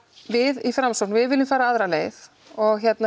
við í Framsókn við viljum fara aðra leið og